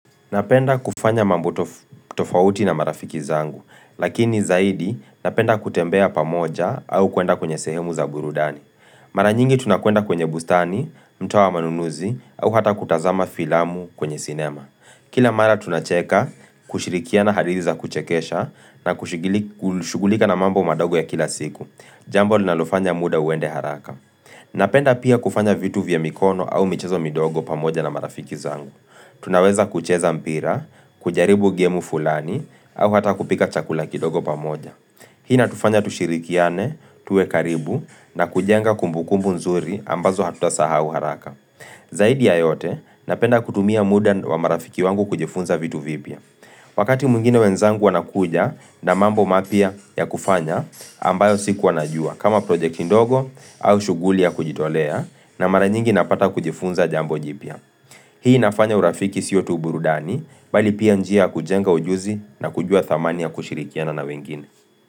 Napenda kufanya mambo tofauti na marafiki zangu, lakini zaidi napenda kutembea pamoja au kuenda kwenye sehemu za burudani. Mara nyingi tunakuenda kwenye bustani, mtawa manunuzi au hata kutazama filamu kwenye sinema. Kila mara tunacheka kushirikia na hadithi za kuchekesha na kushugulika na mambo madogo ya kila siku. Jambo linalofanya muda uende haraka. Napenda pia kufanya vitu vya mikono au michezo midogo pamoja na marafiki zangu. Tunaweza kucheza mpira, kujaribu gemu fulani au hata kupika chakula kidogo pamoja. Hii inatufanya tushirikiane, tuwe karibu na kujenga kumbukumbu nzuri ambazo hatutasahau haraka. Zaidi ya yote napenda kutumia muda wa marafiki wangu kujifunza vitu vipia. Wakati mwingine wenzangu wanakuja na mambo mapya ya kufanya ambayo siku najua kama projekti ndogo au shughuli ya kujitolea na maranyingi napata kujifunza jambo jipya. Hii nafanya urafiki siyotu burudani, bali pia njia kujenga ujuzi na kujua thamani ya kushirikiana na wengine.